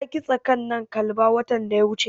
Ta kitsa ƙananan kalba watan da ya wuce.